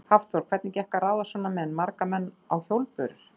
Hafþór: Hvernig gekk að ráða svona menn, marga menn á hjólbörur?